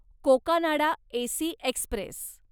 Cocanada AC Express